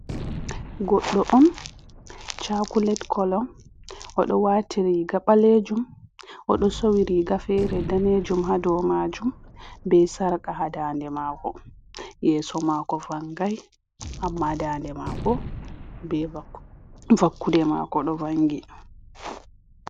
Goɗɗo on chaculet, color oɗo wati riga ɓalejum odo sowri riga fere danejum ha dou majum, be sarqa ha dande mako yeso mako vangai amma dande mako be vakkude mako do vangi.